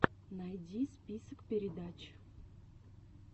найди список передач